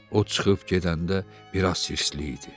O çıxıb gedəndə biraz sirsli idi.